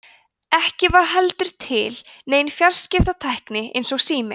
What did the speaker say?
ekki var heldur til nein fjarskiptatækni eins og sími